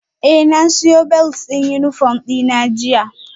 Eh na siyo belt din uniform dina jiya